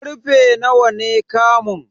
Karfe nawa ne kamun?